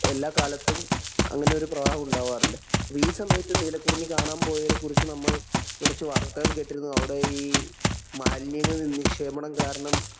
എല്ലാ കാലത്തും അങ്ങനെയൊരു പ്രവാഹം ഉണ്ടാകാറുണ്ട്. അപ്പൊ ഈ സമയത്തും നീലകുറിഞ്ഞി കാണാന്‍ പോയവരെ കുറിച്ച് നമ്മള്‍ കുറച്ചു വാര്‍ത്തകള്‍ കേട്ടിരുന്നു. അവിടെ ഈ മാലിന്യങ്ങളുടെ നിക്ഷേപണം കാരണം